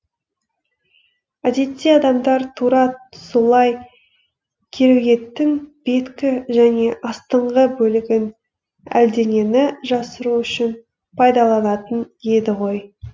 әдетте адамдар тура солай кереуеттің беткі және астыңғы бөлігін әлденені жасыру үшін пайдаланатын еді ғой